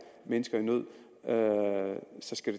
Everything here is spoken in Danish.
mennesker i nød